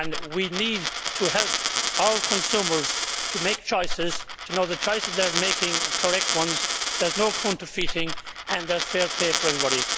We need to help our consumers to make choices, to know that the choices they are making are correct ones, that there is no counterfeiting, and there is fair play for everybody.